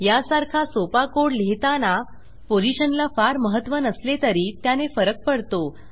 यासारखा सोपा कोड लिहिताना पोझिशनला फार महत्त्व नसले तरी त्याने फरक पडतो